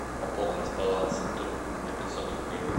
пополнить баланс друг на пятьсот рублей